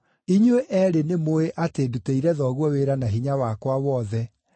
Inyuĩ eerĩ nĩmũũĩ atĩ ndutĩire thoguo wĩra na hinya wakwa wothe,